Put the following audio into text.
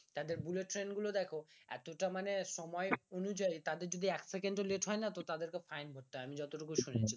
তাদের bullet train গুলো দেখো এতটা মানে সময় অনুযায়ী তাদের যদি এক সেকেন্ডও লেট হয় না তো তাদেরকে fine দিতে হয় আমি যতটুকু শুনেছি